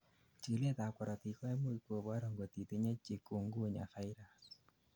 chikilet ab korotik koimuch kobor angot itinyei chikungunya virus